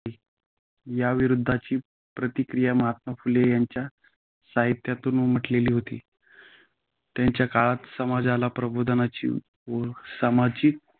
याविरुद्धची प्रतिक्रिया महात्मा फुले यांच्या साहित्यातून उमटलेली होती. त्याकाळच्या समाजाला प्रबोधनाची व सामाजिक